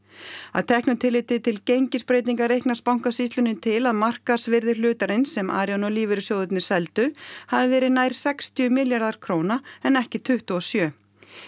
að teknu tilliti til gengisbreytinga reiknast Bankasýslunni til að markaðsvirði hlutarins sem Arion og lífeyrissjóðirnir seldu hafi verið nær sextíu milljarðar króna en ekki tuttugu og sjö